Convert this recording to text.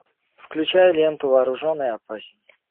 включай ленту вооружен и опасен